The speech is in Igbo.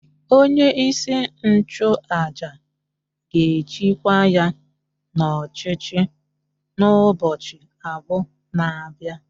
Onye-isi-nchu-àjà gēchi kwa ya n'ọchichi n'ubọchi abụ na bịa